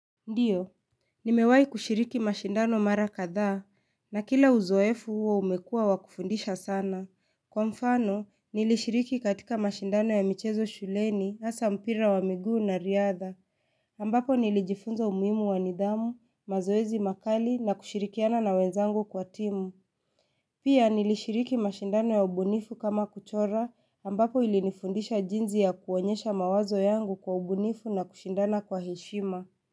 Ndiyo, nimewahi kushiriki mashindano mara kadhaa, na kila uzoefu huo umekua wakufundisha sana. Kwa mfano, nilishiriki katika mashindano ya michezo shuleni asa mpira wa miguu na riadha. Ambapo nilijifunza umuhimu wa nidhamu, mazoezi makali na kushirikiana na wenzangu kwa timu. Pia nilishiriki mashindano ya ubunifu kama kuchora ambapo ilinifundisha jinzi ya kuonyesha mawazo yangu kwa ubunifu na kushindana kwa heshima.